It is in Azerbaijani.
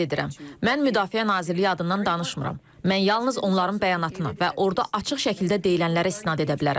Yenə də qeyd edirəm, mən Müdafiə Nazirliyi adından danışmıram, mən yalnız onların bəyanatına və orda açıq şəkildə deyilənlərə istinad edə bilərəm.